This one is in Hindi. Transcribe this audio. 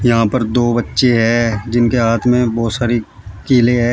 यहां पर दो बच्चे हैं जिनके हाथ में बहोत सारी किले हैं।